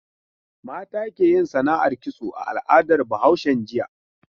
Mata ke yin sana'ar kitso a al'adar Bahaushen jiya.